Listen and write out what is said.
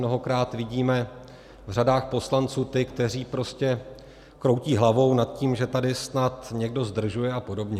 Mnohokrát vidíme v řadách poslanců ty, kteří prostě kroutí hlavou nad tím, že tady snad někdo zdržuje a podobně.